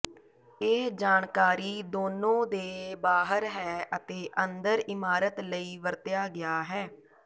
ਇਹ ਜਾਣਕਾਰੀ ਦੋਨੋ ਦੇ ਬਾਹਰ ਹੈ ਅਤੇ ਅੰਦਰ ਇਮਾਰਤ ਲਈ ਵਰਤਿਆ ਗਿਆ ਹੈ